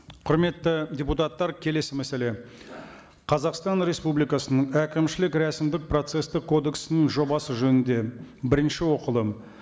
құрметті депутаттар келесі мәселе қазақстан республикасының әкімшілік рәсімдік процесстік кодексінің жобасы жөнінде бірінші оқылым